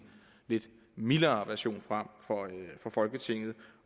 lidt mildere version frem for folketinget